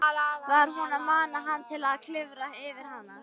Var hún að mana hann til að klifra yfir hana?